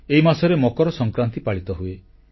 ଏହି ମାସରେ ମକର ସଂକ୍ରାନ୍ତି ପାଳିତ ହୁଏ